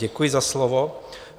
Děkuji za slovo.